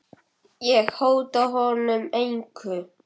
Ég hóta honum engu.